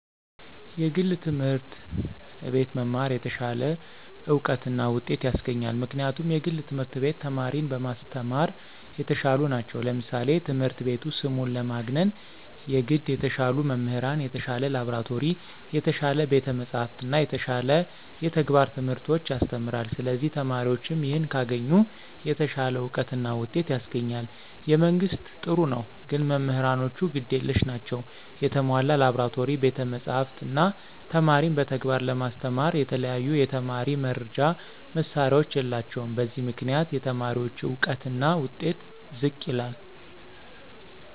የግል ትምህርት አቤት መማር የተሻለ እውቀት እና ውጤት ያሰገኛል ምክንያቱም የግል ትምህርት ቤት ተማሪን በማሰተማራ የተሻሉ ነቸው ለምሳሌ ትምህረት ቤቱ ስሙን ለማግነነ የገድ የተሻሉ መምህራን፣ የተሻለ ላብራቶሪ፣ የተሻለ ቤተ መፅሐፍት እና የተሻለ የተግባረ ትምህርቶች ያሰተምራለ ስለዚህ ተማሪዎችም ይህን ካገኙ የተሻለ አውቀት እና ውጤት ያስገኛል። የመንግስት ጥሩ ነው ግን መምህራኖቹ ግድ የለሽ ናቸው የተሞላ ላብራቶሪ፣ ቤተ መፅሐፍ፣ እነ ተማሪን በተግባር ለማስተማራ የተለያዩ የተማሪ መርጃ መሳሪያዎች የላቸውም በዚህ ምክንያት የተማሪዎች እውቀትና ውጤት ዝቅ ይላል።